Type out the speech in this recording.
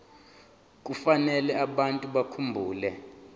kufanele abantu bakhumbule